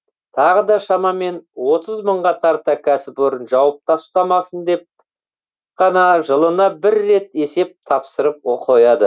тағы да шамамен отыз мыңға тарта кәсіпорын жауып тастамасын деп қана жылына бір рет есеп тапсырып қояды